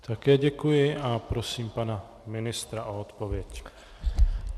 Také děkuji a prosím pana ministra o odpověď.